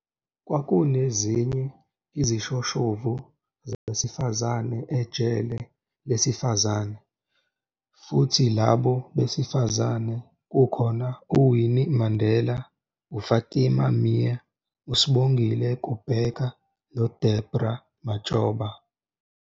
Kwakunezinye izishoshovu zabesifazane eJele Lesifazane, futhi labo besifazane kukhona uWinnie Mandela, uFatima Meer, uSibongile Kubheka noDeborah Matshoba.